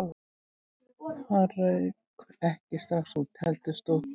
Nei, hann rauk ekki strax út, heldur stóð